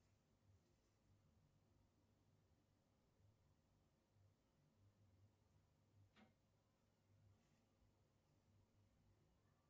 афина как относишься к полету на марс